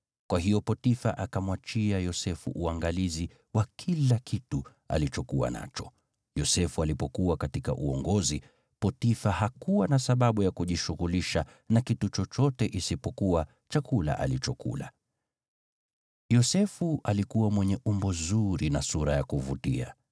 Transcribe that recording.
Kwa hiyo Potifa akamwachia Yosefu uangalizi wa kila kitu alichokuwa nacho, Yosefu alipokuwa katika uongozi, Potifa hakuwa na sababu ya kujishughulisha na kitu chochote isipokuwa chakula alichokula. Yosefu alikuwa mwenye umbo zuri na sura ya kuvutia;